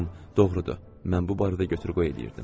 Deyəsən, doğrudur, mən bu barədə götür-qoy eləyirdim.